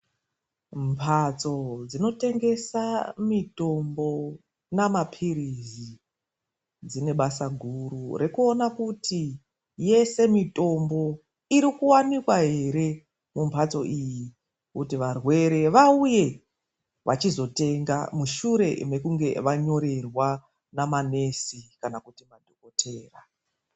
Mbatso dzinotengesa mitombo namapirizi dzine basa guru rekuona kuti yese mitombo irikuwanikwa here mumbatso iyi, kuti varwere vauye vachizotenga, mushure mekunge vanyorerwa namanesi kana kuti madhokoteya.